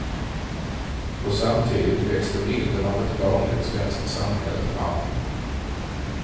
Och samtidigt växte bilden av ett vanligt, svenskt samhälle fram.